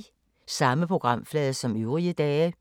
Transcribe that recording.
Samme programflade som øvrige dage